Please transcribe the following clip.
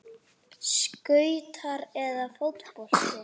Skautar eða fótbolti?